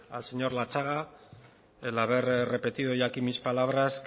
al señor latxaga el haber repetido hoy aquí mis palabras